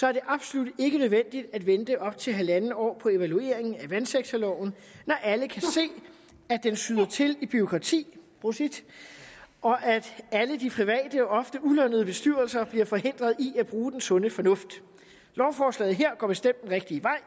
er det absolut ikke nødvendigt at vente op til halv år på evalueringen af vandsektorloven når alle kan se at den sander til i bureaukrati og at alle de private ofte ulønnede bestyrelser bliver forhindret i at bruge den sunde fornuft lovforslaget her går bestemt den rigtige vej